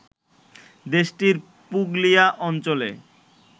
দেশটির পুগলিয়া অঞ্চলে